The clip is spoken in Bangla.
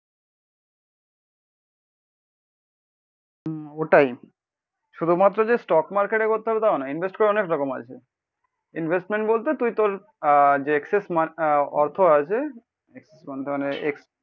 হম ওটাই, শুধুমাত্র যে স্টক মার্কেটে করতে হবে তা না ইনভেস্ট তো অনেক রকম আছে। ইনভেস্টমেন্ট বলতে তুই তোর আহ যে এক্সসেস মান আহ অর্থ আছে। এক্সসেস মানটা মানে